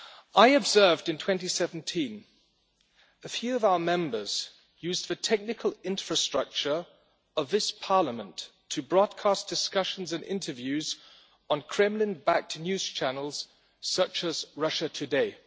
I observed in 2017 a few of our Members using the technical infrastructure of this Parliament to broadcast discussions and interviews on Kremlin backed news channels such as Russia Today.